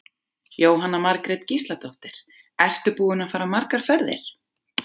Jóhanna Margrét Gísladóttir: Ertu búinn að fara margar ferðir?